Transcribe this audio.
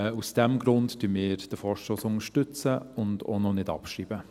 Aus diesem Grund unterstützen wir den Vorstoss und schreiben ihn auch noch nicht ab.